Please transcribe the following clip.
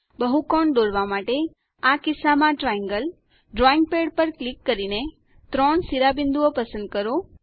બહુકોણ દોરવા માટે આ કિસ્સામાં ટ્રાયેંગલ ડ્રોઈંગ પેડ પર ક્લિક કરીને ત્રણ શિરોબિંદુઓ પસંદ કરો